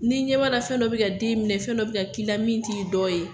Ni ɲɛ b'a la fɛn dɔ bɛ ka den minɛ, fɛn dɔ bɛ ka k'i la min t'i dɔ ye.